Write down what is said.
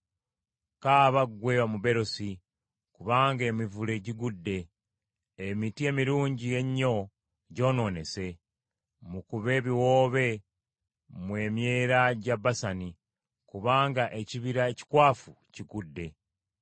Kaaba ggwe omuberosi, kubanga emivule gigudde! Emiti emirungi ennyo gyonoonese. Mukube ebiwoobe mmwe emyera gya Basani, kubanga ekibira ekikwafu kigudde.